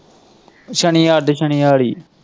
ਸਨੀਵਾਰ ਦੇ ਸਨੀਵਾਰ ਹੀ।